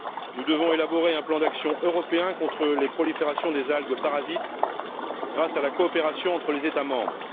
Nous devons élaborer un plan d'action européen contre les proliférations des algues parasites grâce à la coopération entre les États membres.